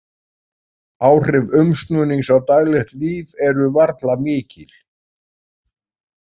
Áhrif umsnúnings á daglegt líf eru varla mikil.